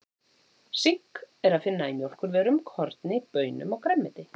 Sink er að finna í mjólkurvörum, korni, baunum og grænmeti.